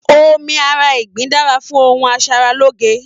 Omí ará ìgbín dára fún ohùn asaraloge.